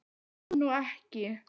Það er nú ekki.